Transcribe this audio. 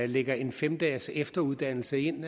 lægger en fem dages efteruddannelse ind